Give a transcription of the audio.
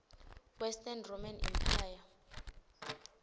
western roman empire